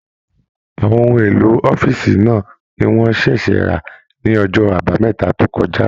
Àwọn ohun èlò ọ̀fiísí náà ní wọn ṣẹṣẹ ra ní ọjọ àbámẹ́ta tó kọjá.